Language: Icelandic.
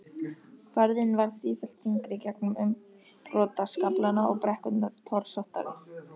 Færðin varð sífellt þyngri gegnum umbrotaskaflana og brekkurnar torsóttari.